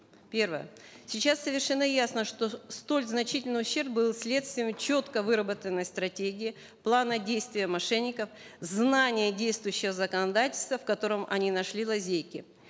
первое сейчас совершенно ясно что столь значительный ущерб был следствием четко выработанной стратегии плана действия мошенников знание действующего законодательства в котором они нашли лазейки